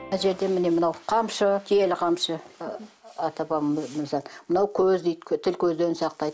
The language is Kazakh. мына жерде міне мынау қамшы киелі қамшы ы ата бабамыздан мынау көз дейді тіл көзден сақтайды